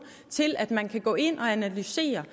til at man kan gå ind og analysere